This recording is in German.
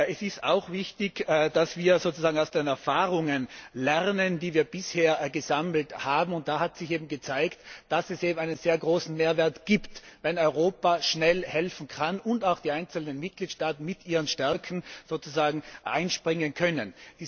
Es ist auch wichtig, dass wir aus den Erfahrungen lernen, die wir bisher gesammelt haben. Da hat sich gezeigt, dass es einen sehr großen Mehrwert gibt, wenn Europa schnell helfen kann und auch die einzelnen Mitgliedstaaten mit ihren Stärken einspringen können.